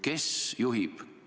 Kes juhib?